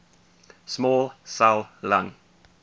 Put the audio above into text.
small cell lung